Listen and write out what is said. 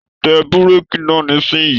Tẹ bureki náà nisinyi!.